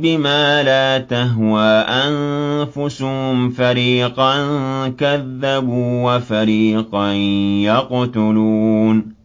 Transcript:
بِمَا لَا تَهْوَىٰ أَنفُسُهُمْ فَرِيقًا كَذَّبُوا وَفَرِيقًا يَقْتُلُونَ